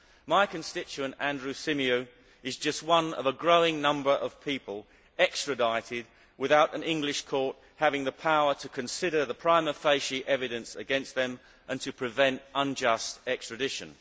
My constituent, Andrew Symeou, is just one of a growing number of people extradited without an English court having the power to consider the prima facie evidence against them and to prevent unjust extradition.